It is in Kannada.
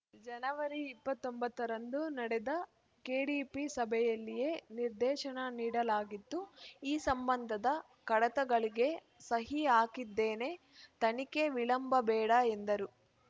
ಜನವರಿ ಇಪ್ಪತ್ತೊಂಬತ್ತ ರಂದು ನಡೆದ ಕೆಡಿಪಿ ಸಭೆಯಲ್ಲಿಯೇ ನಿರ್ದೇಶನ ನೀಡಲಾಗಿತ್ತು ಈ ಸಂಬಂಧದ ಕಡತಗಳಿಗೆ ಸಹಿ ಹಾಕಿದ್ದೇನೆ ತನಿಖೆ ವಿಳಂಬಬೇಡ ಎಂದರು